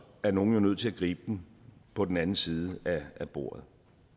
er nogle jo nødt til at gribe den på den anden side af bordet